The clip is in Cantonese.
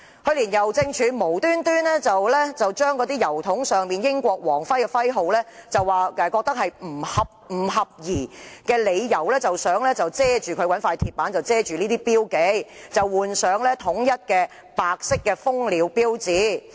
去年，郵政署忽然以郵筒上的英國皇室徽號不合宜為由，以鐵板遮蓋有關標記，劃一換上香港郵政的白色蜂鳥標誌。